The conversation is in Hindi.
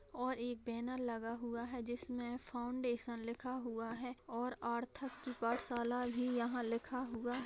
और एक बैनर लगा हुआ है जिसमें फाउंडेशन लिखा हुआ है और आर्थक की पाठशाला भी यहाँ लिखा हुआ --